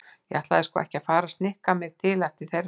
Ég ætla sko ekki að fara að snikka mig til eftir þeirra höfði.